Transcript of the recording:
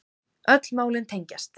Öll málin tengjast